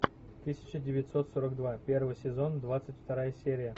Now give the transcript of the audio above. тысяча девятьсот сорок два первый сезон двадцать вторая серия